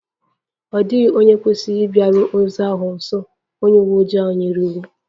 Ọ dịghị onye kwesịrị ịbịaru ozu ahụ nso! Onye uwe ojii ahụ nyere iwu